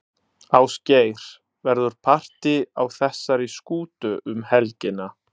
Ásgeir, verður partý á þessari skútu um helgina?